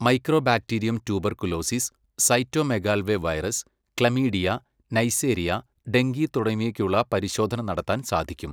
Mycobacterium tuberculosis, cytomegalovirus, chlamydia, neisseria, dengue തുടങ്ങിവയ്ക്കുള്ള പരിശോധന നടത്താൻ സാധിക്കും.